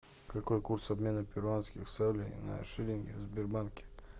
какой курс обмена перуанских солей на шиллинги в сбербанке